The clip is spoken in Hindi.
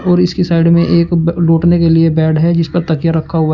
और इसकी साइड में एक लोटने के लिए बेड है जिस पे तकिया रखा हुआ है।